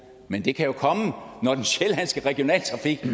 men det kan jo komme når den sjællandske regionaltrafik er